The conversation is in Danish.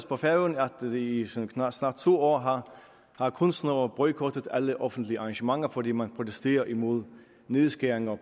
på færøerne at i snart to år har kunstnere boykottet alle offentlige arrangementer fordi man protesterer mod nedskæringer